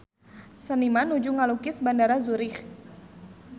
Seniman nuju ngalukis Bandara Zurich